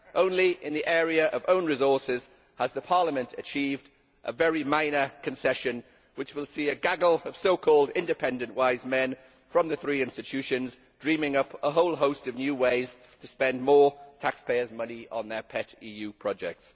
Only in the area of own resources has Parliament achieved a very minor concession which will see a gaggle of so called independent wise men' from the three institutions dreaming up a whole host of new ways to spend more taxpayers' money on their pet EU projects.